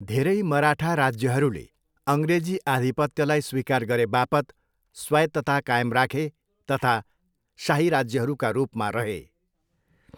धेरै मराठा राज्यहरूले अङ्ग्रेजी आधिपत्यलाई स्वीकार गरेबापत स्वायत्तता कायम राखे तथा शाही राज्यहरूका रूपमा रहे।